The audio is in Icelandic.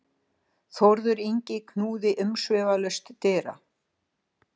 Þórður Yngvi knúði umsvifalaust dyra.